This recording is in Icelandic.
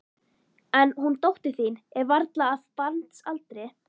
En hún dóttir þín er varla af barnsaldri.